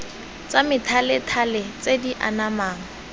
tsa methalethale tse di anamang